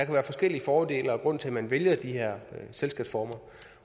være forskellige fordele og grunde til at man vælger de her selskabsformer